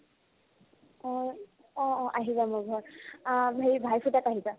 অ, অ অ আহিবা মোৰ ঘৰত অ হেৰি ভাই ফোটত আহিবা